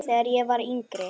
Þegar ég var yngri.